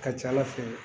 Ka ca ala fɛ